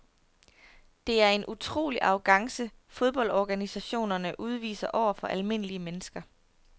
Det er en utrolig arrogance fodboldorganisationerne udviser over for almindelige mennesker.